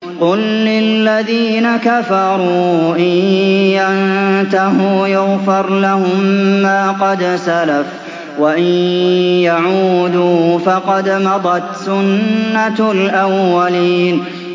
قُل لِّلَّذِينَ كَفَرُوا إِن يَنتَهُوا يُغْفَرْ لَهُم مَّا قَدْ سَلَفَ وَإِن يَعُودُوا فَقَدْ مَضَتْ سُنَّتُ الْأَوَّلِينَ